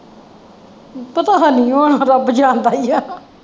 ਪਤਾ ਹੈ ਨਹੀਂ ਹੈ ਰੱਬ ਜਾਣਦਾ ਹੀ ਹੈ।